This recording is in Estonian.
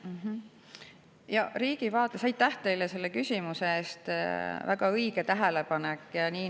Aitäh teile selle küsimuse eest, väga õige tähelepanek!